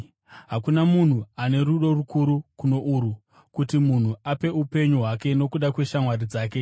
Hakuna munhu ano rudo rukuru kuno urwu, kuti munhu ape upenyu hwake nokuda kweshamwari dzake.